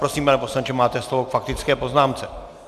Prosím, pane poslanče, máte slovo k faktické poznámce.